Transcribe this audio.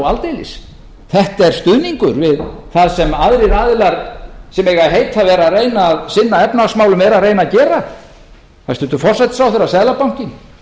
aldeilis þetta er stuðningur við það sem aðrir aðilar sem eiga að heita að vera að reyna að sinna efnahagsmálum eru að reyna að gera hæstvirtur forsætisráðherra seðlabankinn